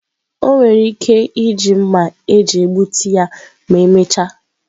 O nwere ike iji mma eji egbutu ya ma emechaa.